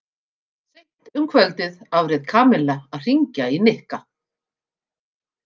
Seint um kvöldið afréð Kamilla að hringja í Nikka.